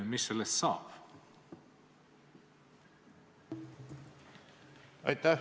Mis sellest saab?